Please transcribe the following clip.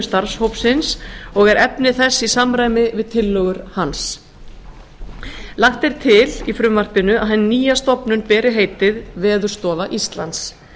starfshópsins og er efni þess í samræmi við tillögur hans lagt er til í frumvarpinu að hin nýja stofnun beri heitið veðurstofa íslands